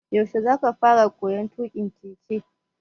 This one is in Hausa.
Yaushe za ka fara koyon tuƙin keke?